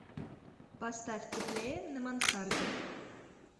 поставь теплее на мансарде